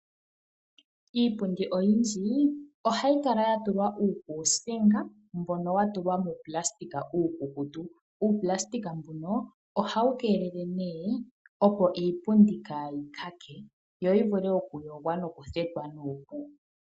Iipundi oyindji ohayi kala yatulwa uukuusinga mbono wa tulwa muunayilona uukukutu. Uunayilona mbuno ohawu keelele nee opo iipundi kaayi luudhe yo yivule okuyogwa nokuthetwa nuupu.